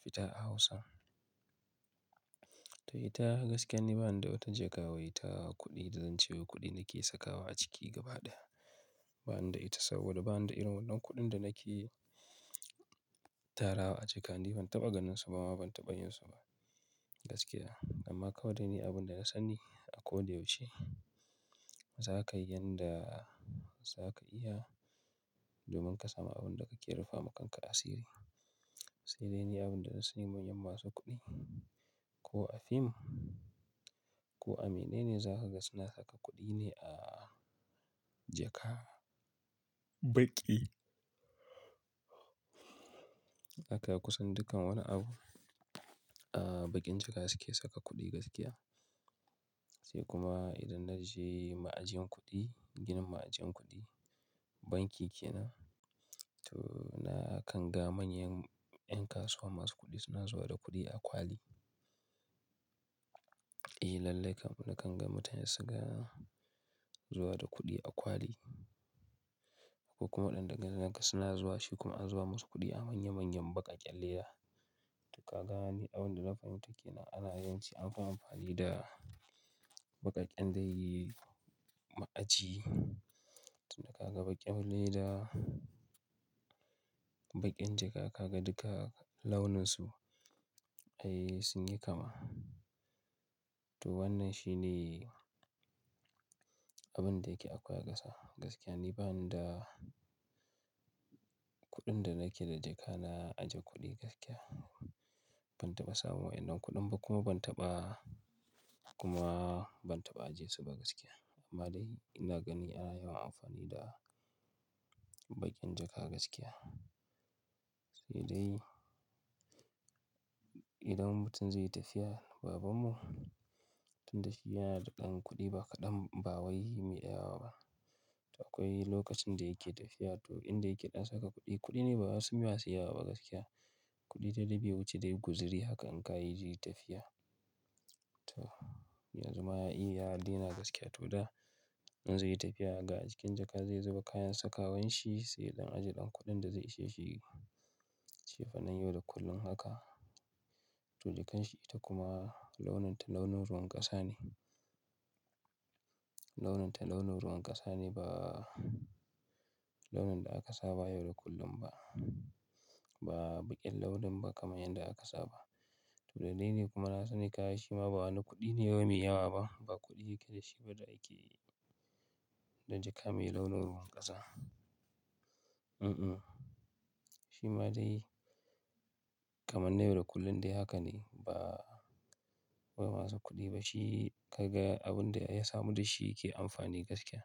fita a Hausa. To ita gaskiya ne bani da wata jaka waye ta kuɗi da zancewa kuɗi nake sakawa a ciki gaba ɗaya. Bani da ita saboda bani da irin wannan kuɗin da nake tarawa a jaka ne. Ban taɓa ganin su ba ma ban taɓa yin su ba gaskiya. Amma kawai dai ne abin da na sani a ko da yaushe za ka yi yanda za ka iya domin ka samu abin da kake rufa ma kanka asiri. Sai dai ne abin da na sani manyan masu kuɗi ko a fim ko a menene za ka ga suna saka kuɗi ne a jaka. Baƙi. Akan kusan dukkan wani abu a baƙin jaka suke saka kuɗi gaskiya. Sai kuma idan na je ma'ajin kuɗi, ginin ma'ajin kuɗi, banki ke nan to na kanga manyan ƴan kasuwa masu kuɗi suna zuwa da kuɗi a kwali. Eh lallai kam na kanga mutane suke zuwa da kuɗi a kwali. Akwai kuma waɗanda gani naka suna zuwa shi kuma an zuba musu kuɗi a manya manyan baƙaƙƙen leda. To ka ga ne abin da na fahimta ke nan ana yawanci anfi amfani da baƙaƙen dai ma'aji. To da ka ga baƙin leda, baƙin jaka ka ga duka launin su ai sun yi kama. To wannan shi ne abin da yake akwai aƙasa. Gaskiya ne bani da kuɗin da nake da jaka na aje kuɗi gaskiya. Ban taɓa samu waɗannan kuɗan ba kuma ban taɓa kuma ban taɓa ajiye su ba gaskiya. Amma dai ina gani ana yawan amfani da baƙin jaka gaskiya. Sai dai idan mutum zai yi tafiya, babanmu tun da shi yana da ɗan kuɗi ba kaɗan ba wai maidawa ba. To akwai lokacin da yake tafiya to inda yake ɗan saka kuɗi, kuɗi ne ba wasu masu yawawa ba gaskiya. Kuɗi da bai wuce ba dai guzuri haka anka yi je tafiya. To yanzu ma ai yadaina gaskiya to da in zai yi tafiya ga a cikin jaka zai zuba kayan sakawan shi sai ɗan ajiye ɗan kuɗin da zai ishe shi cefanen yau da kullum haka. To jakar shi ita kuma launin ta launin ruwan ƙasa ne. Launin ta launin ruwan ƙasa ne ba launin da aka sa ba yau da kullum ba. Ba baƙin launin ba kamar yanda aka sa ba. To dalili dai kuma na sani kaya shima ba wani kuɗi ne wai mai yawa ba. Ba kuɗi yake da shi ba da yake da jaka mai launin ruwan ƙasa. Mm-mm. Shima dai kamar na yau da kullum dai haka ne ba wai masu kuɗi ba shi ka ga abin da ya samu da shi yake amfani gaskiya.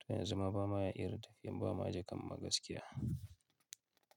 To yanzu ma ba ma ya iya tafiya ba ma jaka ma gaskiya.